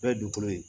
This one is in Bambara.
N'o ye dugukolo ye